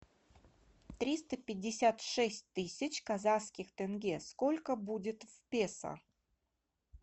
триста пятьдесят шесть тысяч казахских тенге сколько будет в песо